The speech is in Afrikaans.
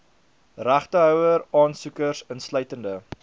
regtehouer aansoekers insluitende